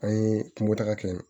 An ye kunko taga kɛ yen